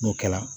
N'o kɛla